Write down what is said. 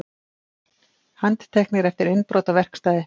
Handteknir eftir innbrot á verkstæði